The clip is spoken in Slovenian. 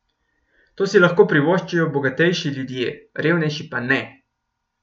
To si lahko privoščijo bogatejši ljudje, revnejši pa ne.